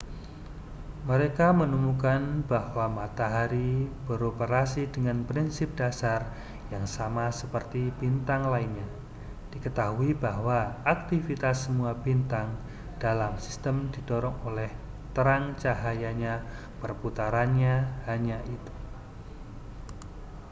mereka menemukan bahwa matahari beroperasi dengan prinsip dasar yang sama seperti bintang lainnya diketahui bahwa aktivitas semua bintang dalam sistem didorong oleh terang cahayanya perputarannya hanya itu